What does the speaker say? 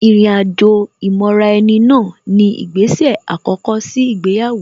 Ìrìn àjò ìmọra-ẹni náà ni ìgbésè àkọ́kọ́ sí ìgbéyàwó